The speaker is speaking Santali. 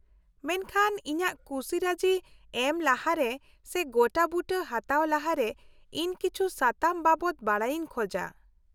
-ᱢᱮᱱᱠᱷᱟᱱ ᱤᱧᱟᱹᱜ ᱠᱩᱥᱤ ᱨᱟᱹᱡᱤ ᱮᱢ ᱞᱟᱦᱟᱨᱮ ᱥᱮ ᱜᱚᱴᱟᱵᱩᱴᱟᱹ ᱦᱟᱛᱟᱣ ᱞᱟᱦᱟᱨᱮ, ᱤᱧ ᱠᱤᱪᱷᱩ ᱥᱟᱛᱟᱢ ᱵᱟᱵᱚᱛ ᱵᱟᱰᱟᱭᱤᱧ ᱠᱷᱚᱡᱟ ᱾